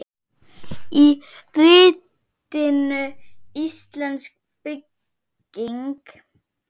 Í ritinu Íslensk bygging